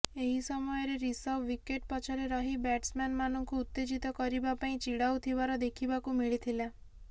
ଏହି ସମୟରେ ରିଷଭ ୱିକେଟ ପଛରେ ରହି ବ୍ୟାଟ୍ସମ୍ୟାନ ମାନଙ୍କୁ ଉତ୍ତେଜିତ କରିବା ପାଇଁ ଚିଡାଉଥିବାର ଦେଖିବାକୁ ମିଳିଥିଲା